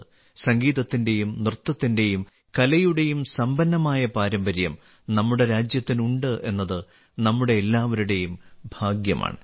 സംഗീതത്തിന്റെയും നൃത്തത്തിന്റെയും കലയുടെയും സമ്പന്നമായ പാരമ്പര്യം നമ്മുടെ രാജ്യത്തിനുണ്ട് എന്നത് നമ്മുടെ എല്ലാവരുടെയും ഭാഗ്യമാണ്